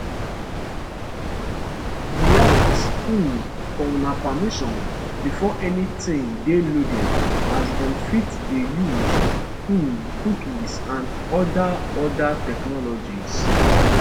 we ask um for una permission before anytin dey loaded as dem fit dey use um cookies and oda oda technologies